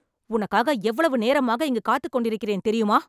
உனக்காக எவ்வளவு நேரமாக இங்கு காத்துக் கொண்டிருக்கிறேன் தெரியுமா